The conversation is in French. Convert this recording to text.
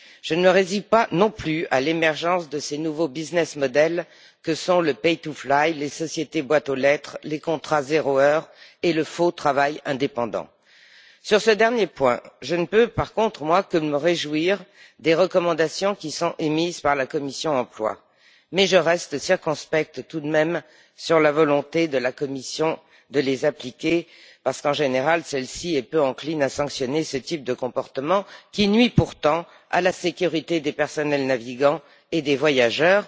Je ne me résous pas non plus à l'émergence de ces nouveaux modèles économiques que sont le pay to fly les sociétés boîte aux lettres, les contrats zéro heure et le faux travail indépendant. Sur ce dernier point, je ne peux, par contre, que me réjouir des recommandations émises par la commission de l'emploi et des affaires sociales, mais je reste circonspecte tout de même sur la volonté de la Commission de les appliquer, parce qu'en général, celle-ci est peu encline à sanctionner ce type de comportement, qui nuit pourtant à la sécurité des personnels navigants et des voyageurs.